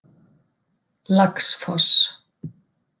Laxfoss